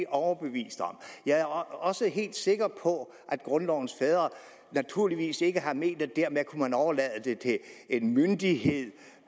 overbevist om jeg er også helt sikker på at grundlovens fædre naturligvis ikke har ment at man dermed kunne overlade det til en myndighed